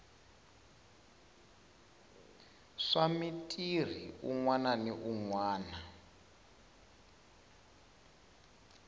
swa mitirhi u nwananwana